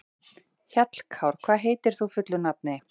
Hjallkár, hvað heitir þú fullu nafni?